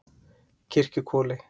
Kirkjuhvoli